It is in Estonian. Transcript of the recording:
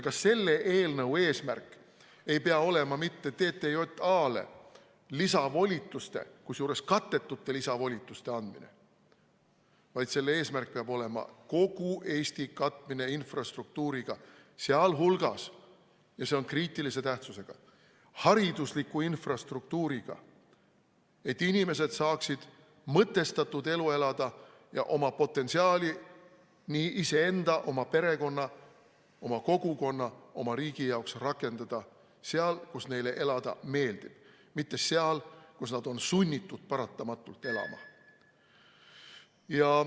Ka selle eelnõu eesmärk ei pea olema mitte TTJA-le lisavolituste, kusjuures kattetute lisavolituste andmine, vaid selle eesmärk peab olema kogu Eesti katmine infrastruktuuriga, sealhulgas – ja see on kriitilise tähtsusega – haridusliku infrastruktuuriga, et inimesed saaksid mõtestatud elu elada ja rakendada oma potentsiaali nii iseenda, oma perekonna, oma kogukonna kui ka oma riigi huvides seal, kus neile elada meeldib, mitte seal, kus nad on paratamatult sunnitud elama.